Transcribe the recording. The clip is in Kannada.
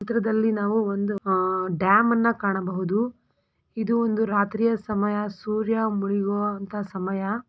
ಚಿತ್ರದಲ್ಲಿ ನಾವು ಒಂದು ಡ್ಯಾಮ್ ಅನ್ನು ಕಾಣಬಹುದು ಇದು ಒಂದು ರಾತ್ರಿಯ ಸಮಯ ಸೂರ್ಯ ಮುಳಗೋವಂತಹ ಸಮಯ.